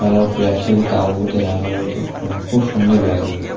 Colour প্লাস্টিক -এ তাঁবুতে রাখা রয়েছে খুবসুন্দর লাগছে ।